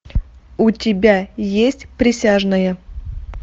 у тебя есть присяжные